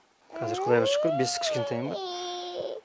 қазір құдайға шүкір бес кішкентайым бар